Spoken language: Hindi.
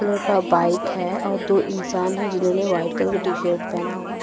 कलर का बाइक है और दो इंसान है जिन्होंने वाइट कलर का टी शर्ट पहना हुआ--